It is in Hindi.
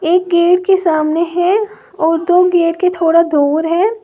एक गेट के सामने है और दो गेट के थोड़ा दूर है।